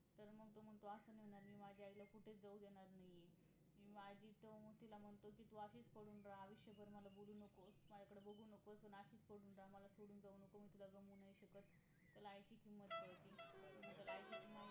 तर तो म्हणतो असं म्हणू नका मी माझ्या आईला कुठंच जाऊ देणार नाही आहे तर माझी तर मग तिला म्हणतो कि तू अशीच पडून रहा आयुष्यभर मला बोलु नकोस, माझ्याकडे बघु नकोस पण तू अशीच पडून राहा मला सोडुन जाऊ नकोस मी तुला गमावू नाही शकत त्याला आईची किंमत कळते मग त्याला आई